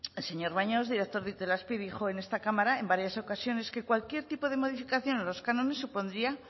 el señor baños director de itelazpi dijo en esta cámara en varias ocasiones que cualquier tipo de modificación en los cánones supondrían